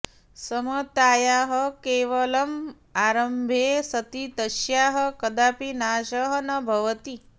समतायाः केवलम् आरम्भे सति तस्याः कदापि नाशः न भवति